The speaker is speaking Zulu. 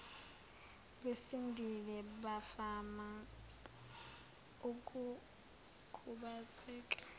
besindile bavama ukukhubazeka